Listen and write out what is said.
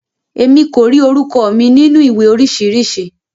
Emi ko ri orúkọ mi nínú ìwé oríṣiríṣi.